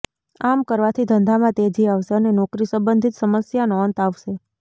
આમ કરવાથી ધંધામાં તેજી આવશે અને નોકરી સંબંધિત સમસ્યાનો અંત આવશે